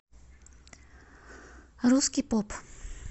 русский поп